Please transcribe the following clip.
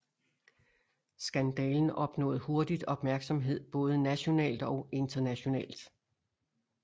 Skandalen opnåede hurtigt opmærksomhed både nationalt og internationalt